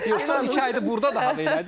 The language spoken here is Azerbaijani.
Yoxsa iki aydır burda da hələdir.